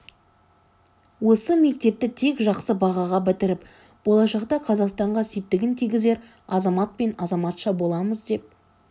осы мектепті тек жақсы бағаға бітіріп болашақта қазақстанға септігін тигізер азамат пен азаматша боламыз деп